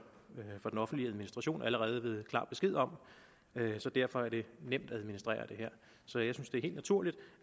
den offentlige administration allerede ved klar besked om så derfor er det nemt at administrere så jeg synes det er helt naturligt